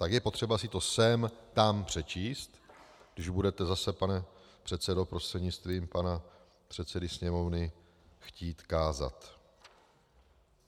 Tak je potřeba si to sem tam přečíst, když budete zase, pane předsedo, prostřednictvím pana předsedy Sněmovny, chtít kázat.